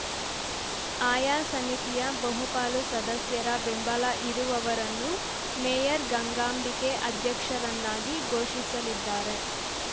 ಆಯಾ ಸಮಿತಿಯ ಬಹುಪಾಲು ಸದಸ್ಯರ ಬೆಂಬಲ ಇರುವವರನ್ನು ಮೇಯರ್‌ ಗಂಗಾಂಬಿಕೆ ಅಧ್ಯಕ್ಷರನ್ನಾಗಿ ಘೋಷಿಸಲಿದ್ದಾರೆ